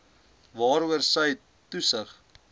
waaroor sy toesig